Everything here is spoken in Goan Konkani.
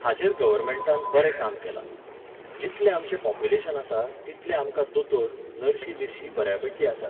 हाचेर गव्हर्नमेंटान बरें काम केलां. जितलें आमचें पॉप्युलेशन आसा, तितले आमकां दोतोर, नर्शी बिर्शी बऱ्यापैकीं आसात.